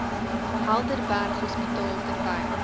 helderberg hospitaal terwyl